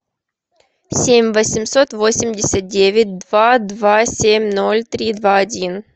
семь восемьсот восемьдесят девять два два семь ноль три два один